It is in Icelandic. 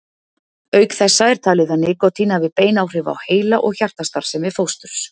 Auk þessa er talið að nikótín hafi bein áhrif á heila- og hjartastarfsemi fósturs.